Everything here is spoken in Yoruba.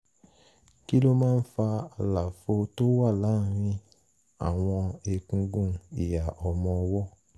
kí ló máa ń fa àlàfo tó wà láàárín àwọn egungun ìhà ọmọ ọwọ́?